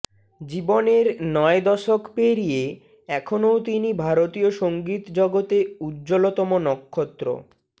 জীবনের নয় দশক পেরিয়ে এখনও তিনি ভারতীয় সংগীতজগতে উজ্জ্বলতম নক্ষত্র